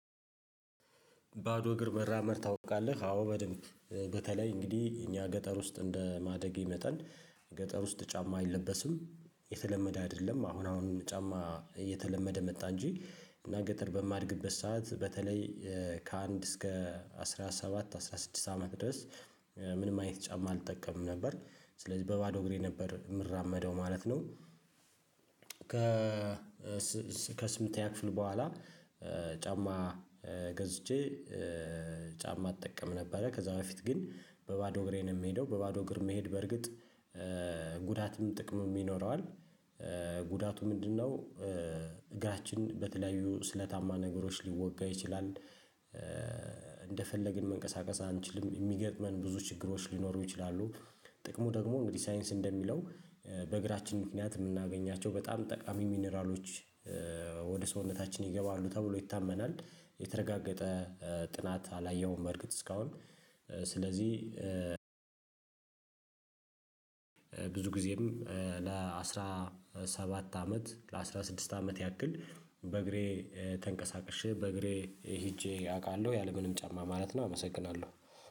ባዶ እግር መራመድ ታውቃለህ አዎ በደንብ በተለይ እንግዲህ እኛ ገጠር ውስጥ እንደ ማደጌ መጠን ገጠር ውስጥ ጫማ አይለበስም የተለመደ አይደለም አሁን አሁን ጫማ እየተለመደ መጣ እንጂ እና ገጠር በማድግበት ሰዓት በተለይ ከአንድ እስከ አስራ ሰባት አስራ ስድስት አመት ድረስ ምንም አይነት ጫማ አልጠቀምም ነበር ስለዚህ በባዶ እግሬ ነበር የምራመደው ማለት ነው። ከስምንተኛ ክፍል በኋላ ጫማ ገዝቼ ጫማ እጠቀም ነበረ ከዛ በፊት ግን በባዶ እግሬን የምሄደው በባዶ እግር መሄድ በእርግጥ ጉዳትም ጥቅም ይኖረዋል። ጉዳቱ ምንድነው? እግራችን በተለያዩ ስለታማ ነገሮች ሊወጋ ይችላል። እንደፈለግን መንቀሳቀስ አንችልም የሚገጥመን ብዙ ችግሮች ሊኖሩ ይችላሉ። ጥቅሙ ደግሞ እንግዲህ ሳይንስ እንደሚለው በእግራችን ምክንያት የምናገኛቸው በጣም ጠቃሚ ሚኒራሎች ወደ ሰውነታችን ይገባሉ ተብሎ ይታመናል። የተረጋገጠ ጥናት አላየሁም በርግጥ እስካሁን ስለዚህ። ብዙ ጊዜም ለአሥራ ሰባት አመት ለአስራ ስድስት አመት ያክል በእግሬ ተንቀሳቅሼ በእግሬ ሄጄ አውቃለሁ ያለምንም ጫማ ማለት ነው አመሰግናለሁ